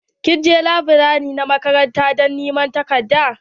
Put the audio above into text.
Kin je laburare na makaranta don niman takardan?